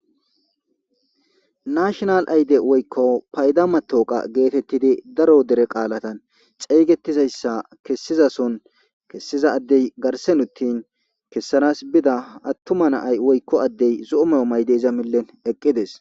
Nl woyko pada matoqa geetetidi darotu doonan xeegetizaysa kesizason kesizadey garden uttin kessan Bida attuma na'ay woyko added nay zo'o mayo mayidi iza achan eqides.